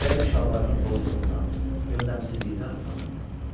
Elə bil şalvarının bozluğundan, yöndəmsizliyindən utanırdı.